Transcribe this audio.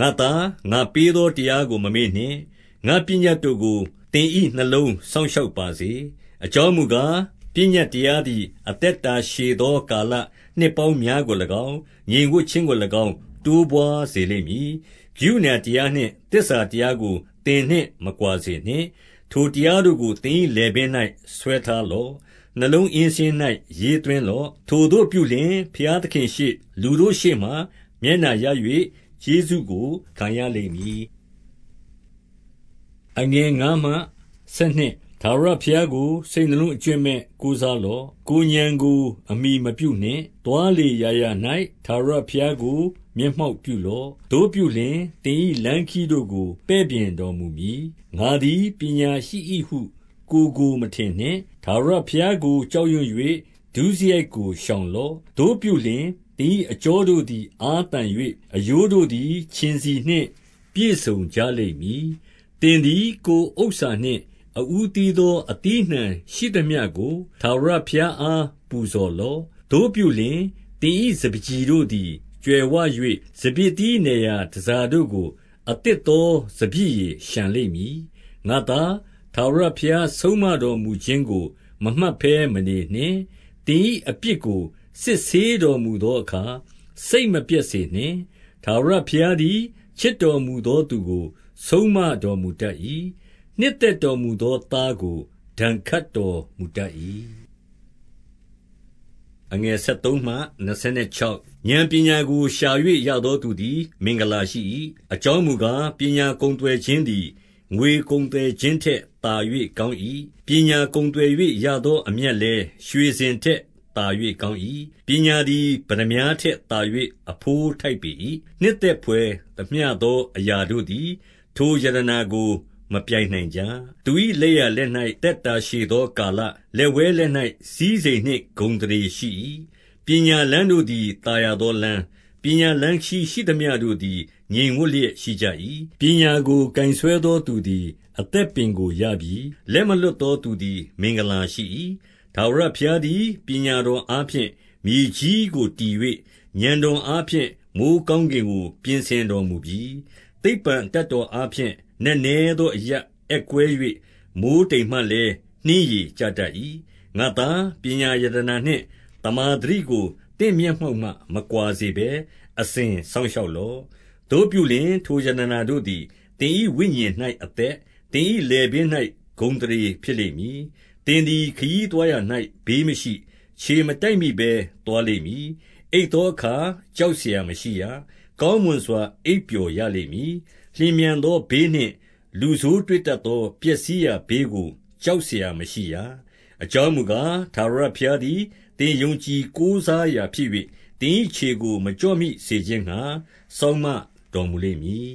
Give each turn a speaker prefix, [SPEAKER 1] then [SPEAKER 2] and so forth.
[SPEAKER 1] ငါ့သား၊ ငါပေးသောတရားကို မမေ့နှင့်။ ငါ့ပညတ်တို့ကို သင်၏နှလုံးစောင့်ရှောက်ပါစေ။ အကြောင်းမူကား၊ ပညတ်တရားသည် အသက်တာရှည်သော ကာလနှစ်ပေါင်းများကို၎င်း၊ ငြိမ်ဝပ်ခြင်းကို ၎င်း တိုးပွါးစေလိမ့်မည်။ ကရုဏာတရားနှင့် သစ္စာတရားကို သင်နှင့် မကွာစေနှင့်။ ထိုတရားတို့ကို သင်၏လည်ပင်း၌ဆွဲထား လော့။ နှလုံးအင်းစာရင်း၌ ရေးသွင်းလော့။ ထိုသို့ပြုလျှင် ဘုရားသခင်ရှေ့လူတို့ရှေ့မှာ မျက်နှာရ၍၊ ကျေးဇူးကို ခံရလိမ့်မည်။ ထာဝရဘုရားကို စိတ်နှလုံးအကြွင်းမဲ့ ကိုးစားလော့။ ကိုယ်ဥာဏ်ကို အမှီမပြုနှင့်။ သွားလေရာရာ၌ ထာဝရဘုရားကို မျက်မှောက် ပြုလော့။ သို့ပြုလျှင်၊ သင်၏လမ်းခရီးတို့ကို ပဲ့ပြင်တော် မူမည်။ ငါသည်ပညာရှိ၏ဟု ကိုယ်ကို မထင်နှင့်။ ထာဝရဘုရားကို ကြောက်ရွံ့၍ ဒုစရိုက်ကိုရှောင်လော့။ သို့ပြုလျှင်၊ သင်၏အကြောတို့သည် အားသန်၍၊ အရိုးတို့သည် ခြင်ဆီနှင့် ပြည့်စုံကြလိမ့်မည်။ သင်သည်ကိုယ်ဥစ္စာနှင့် အဦးသီးသော အသီး အနှံရှိသမျှကို ထာဝရဘုရားအား ပူဇော်လော့။ သို့ပြုလျှင်၊ သင်၏စပါးကျီတို့သည် ကြွယ်ဝ၍၊ စပျစ်သီးနယ်ရာ တန်ဆာတို့ကို အသစ်သော စပျစ်ရည် လျှံလိမ့်မည်။ ငါ့သား၊ ထာဝရဘုရားဆုံးမတော်မူခြင်းကို မမှတ်ဘဲမနေနှင့်။ သင်၏အပြစ်ကို စစ်ဆေးတော်မူသော အခါ စိတ်မပျက်စေနှင့်။ ထာဝရဘုရားသည် ချစ်တော်မူသော သူကို ဆုံးမတော်မူတတ်၏။ နှစ်သက်တော်မူသော သူကို ဆုံးမ တော်မူတတ်၏။ ဥာဏ်ပညာကို ရှာ၍ရသောသူသည် မင်္ဂလာ ရှိ၏။ အကြောင်းမူကား၊ ပညာကုန်သွယ်ခြင်းသည် ငွေကုန်သွယ်ခြင်းထက်သာ၍ကောင်း၏။ ပညာကုန်သွယ် ၍ ရသောအမြတ်လည်း ရွှေစင်ထက် သာ၍ကောင်း၏။ ပညာသည် ပတ္တမြားထက်သာ၍ အဘိုးထိုက် ပေ၏။ နှစ်သက်ဘွယ်သမျှသော အရာတို့သည် ထိုရတနာကို မပြိုင်နိုင်ကြ။ သူ၏လက်ျာလက်၌ အသက်တာရှည်သော ကာလ၊ လက်ဝဲလက်၌ စည်းစိမ်နှင့်ဂုဏ်အသရေရှိ၏။ ပညာလမ်းတို့သည် သာယာသောလမ်း၊ ပညာ လမ်းခရီးရှိသမျှတို့သည် ငြိမ်ဝပ်လျက်ရှိကြ၏။ ပညာကို ကိုင်ဆွဲသောသူသည် အသက်ပင်ကို ရပြီ။ လက်မလွှတ်သော သူသည် မင်္ဂလာရှိ၏။ ထာဝရဘုရားသည် ပညာတော်အားဖြင့် မြေကြီးကိုတည်၍၊ ဥာဏ်တော်အားဖြင့် မိုဃ်းကောင်းကင် ကို ပြင်ဆင်တော်မူပြီ။ သိပ္ပံအတတ်တော်အားဖြင့် နက်နဲသောအရပ် အက်ကွဲ၍၊ မိုဃ်းတိမ်မှလည်း နှင်းရည်ကျတတ်၏။ ငါ့သား၊ ပညာရတနာနှင့် သမ္မာသတိကို သင့် မျက်မှောက်မှ မကွာစေဘဲ၊ အစဉ်စောင့်ရှောက်လော့။ သို့ပြုလျှင်၊ ထိုရတနာတို့သည် သင်၏ဝိညာဉ်၌ အသက်၊ သင်၏လည်ပင်း၌ ဂုဏ်အသရေဖြစ်လိမ့်မည်။ သင်သည်ခရီးသွားရာ၌ ဘေးမရှိ။ ခြေမတိုက်မိ ဘဲ သွားလိမ့်မည်။ အိပ်သောအခါ ကြောက်စရာမရှိရ။ကောင်းမွန် စွာ အိပ်ပျော်ရလိမ့်မည်။ လျင်မြန်သောဘေးနှင့် လူဆိုးတွေ့တတ်သော ပျက်စီးရာ ဘေးကို ကြောက်စရာမရှိရ။ အကြောင်းမူကား၊ ထာဝရဘုရားသည် သင်ယုံကြည်ကိုးစားရာဖြစ်၍၊ သင်၏ခြေကိုမကျော့မိ စေခြင်းငှါ စောင့်မတော်မူလိမ့်မည်